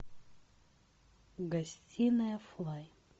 гостинная флай